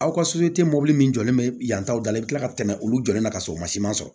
Aw ka mɔbili min jɔlen bɛ yan taw da la i bɛ kila ka tɛmɛ olu jɔlen kan k'a sɔrɔ o ma siman sɔrɔ